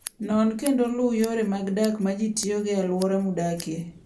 Non kendo luw yore mag dak ma ji tiyogo e alwora ma udakie.